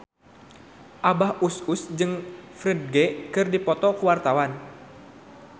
Abah Us Us jeung Ferdge keur dipoto ku wartawan